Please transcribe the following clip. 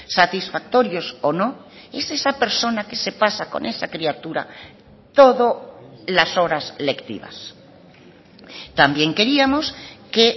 satisfactorios o no es esa persona que se pasa con esa criatura todo las horas lectivas también queríamos que